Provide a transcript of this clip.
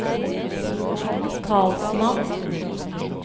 talsmann